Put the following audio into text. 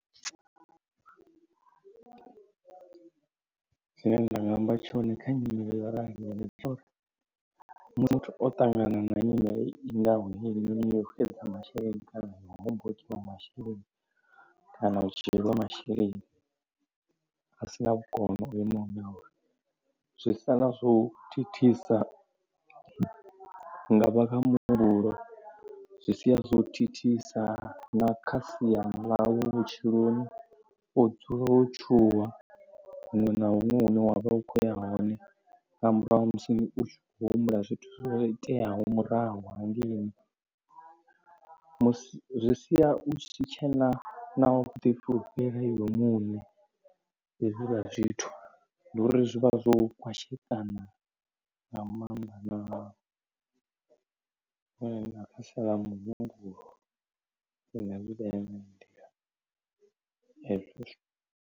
Zwine nda nga amba tshone kha nyimele yo raliho ndi dza uri muthu o ṱangana na nyimele i ngaho hainonii yo xedza masheleni kana u hombokwa masheleni kana u tshi lwa masheleni a sina vhukono ho imaho nga uri. Zwi sala zwo u thithisa hu nga vha kha muhumbulo, zwi sia zwo thithisa na kha sia ḽa vhutshiloni u dzula wo tshuwa huṅwe na huṅwe hune wavha u kho ya hone nga murahu musi u khou humbula zwithu zwo iteaho murahu hangeini. Zwi sia u si tshena na vhuḓifulufheli iwe muṋe hezwila zwithu. Nduri zwiḽa zwithu zwi vha zwo u kwashekana nga maanḓa hezwo.